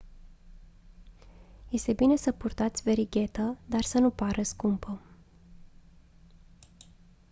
este bine să purtați verighetă dar să nu pară scumpă